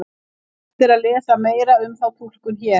Hægt er að lesa meira um þá túlkun hér.